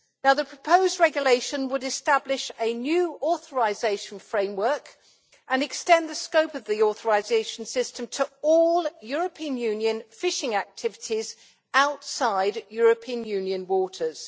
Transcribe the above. The proposed regulation would establish a new authorisation framework and extend the scope of the authorisation system to all European Union fishing activities outside European Union waters.